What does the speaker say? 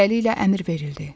Beləliklə, əmr verildi.